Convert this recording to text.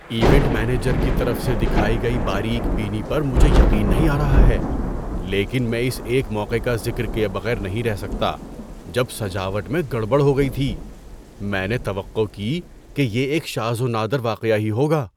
Event manager کی طرف سے دکھائی گئی باریک بینی پر مجھے یقین نہیں آ رہا ہے، لیکن میں اس ایک موقع کا ذکر کیے بغیر نہیں رہ سکتا جب سجاوٹ میں گڑبڑ ہو گئی تھی۔ میں نے توقع کی کہ یہ ایک شاذ و نادر واقعہ ہی ہوگا۔